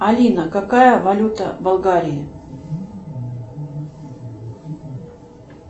алина какая валюта в болгарии